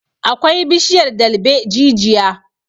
akwai bishiyar dalbaejijia